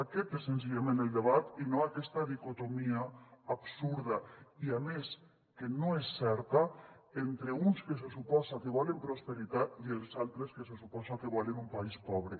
aquest és senzillament el debat i no aquesta dicotomia absurda i a més que no és certa entre uns que se suposa que volen prosperitat i els altres que se suposa que volen un país pobre